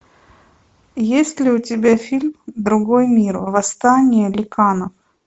есть ли у тебя фильм другой мир восстание ликанов